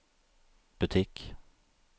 butikk